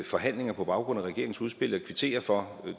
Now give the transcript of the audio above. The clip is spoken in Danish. forhandlinger på baggrund af regeringens udspil og jeg kvitterer for